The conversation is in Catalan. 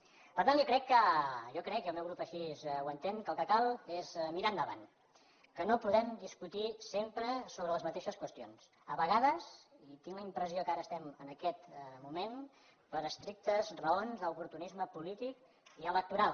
per tant jo crec jo ho crec i el meu grup així ho entén que el que cal és mirar endavant que no podem discutir sempre sobre les mateixes qüestions a vegades i tinc la impressió que ara estem en aquest moment per estrictes raons d’oportunisme polític i electoral